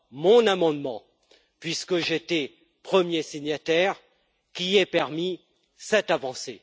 mon amendement, puisque j'étais le premier signataire, qui ait permis cette avancée.